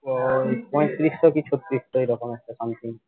তোর পঁয়ত্রিশশো কি ছত্রিশশো এরকম আছে something